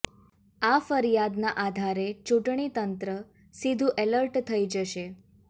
આ ફરિયાદના આધારે ચૂંટણી તંત્ર સીધુ એલર્ટ થઈ જશે